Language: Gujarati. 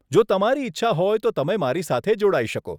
જો તમારી ઈચ્છા હોય તો તમે મારી સાથે જોડાઈ શકો.